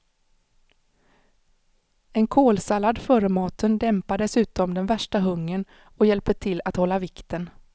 En kålsallad före maten dämpar dessutom den värsta hungern och hjälper till att hålla vikten.